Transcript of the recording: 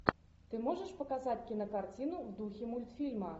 ты можешь показать кинокартину в духе мультфильма